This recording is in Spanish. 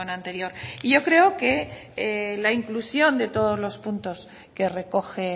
anterior y yo creo que la inclusión de todos los puntos que recoge